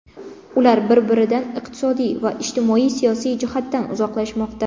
Ular bir-biridan iqtisodiy va ijtimoiy-siyosiy jihatdan uzoqlashmoqda.